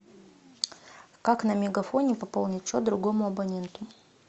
как на мегафоне пополнить счет другому абоненту